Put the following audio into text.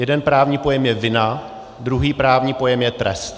Jeden právní pojem je vina, druhý právní pojem je trest.